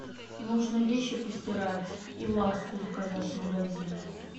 нужно вещи постирать и ласку заказать с магазина